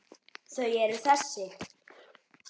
Þau eru þessi: